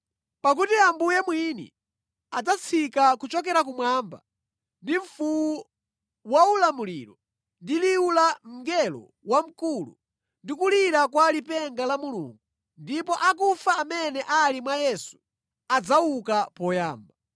Pakuti Ambuye mwini adzatsika kuchokera kumwamba, ndi mfuwu waulamuliro, ndi liwu la mngelo wamkulu, ndi kulira kwa lipenga la Mulungu, ndipo akufa amene ali mwa Yesu adzauka poyamba.